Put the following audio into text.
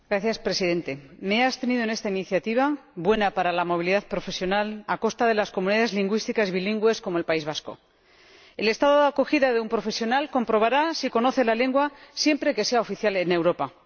Señor Presidente, me he abstenido en esta iniciativa, buena para la movilidad profesional a costa de las comunidades lingüísticas bilingües como el País Vasco. El Estado de acogida de un profesional comprobará si conoce la lengua siempre que sea oficial en Europa.